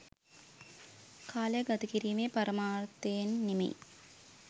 කාලය ගත කිරීමේ පරමාර්ථයෙන් නෙමෙයි.